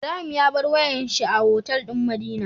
Ibrahim ya bar wayar shi a otal din madina